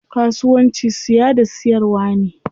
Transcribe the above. Kasuwanci siya da siyarwa ne.